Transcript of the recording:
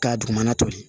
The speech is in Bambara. K'a dugumana to ye